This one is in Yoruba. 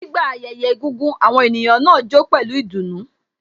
Nígbà ayẹyẹ egúngún, àwọn ènìyàn náà jó pẹlu ìdùnnú